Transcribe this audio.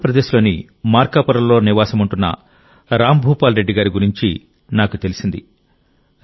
ఆంధ్రప్రదేశ్లోని మార్కాపురంలో నివాసముంటున్న రామ్భూపాల్రెడ్డి గారి గురించి నాకు తెలిసింది